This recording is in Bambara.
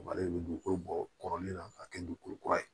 Malo de bɛ dugukolo bɔ kɔrɔlen na k'a kɛ dugukolo kura ye